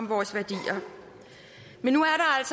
vores værdier men nu